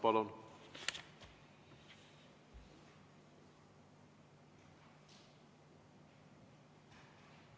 Palun!